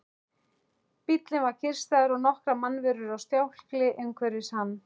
Bíllinn var kyrrstæður og nokkrar mannverur á stjákli umhverfis hann.